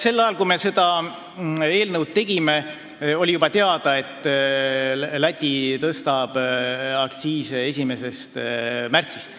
Sel ajal, kui me seda eelnõu tegime, oli juba teada, et Läti tõstab aktsiise 1. märtsist.